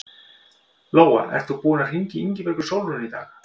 Lóa: Ert þú búinn að hringja í Ingibjörgu Sólrúnu í dag?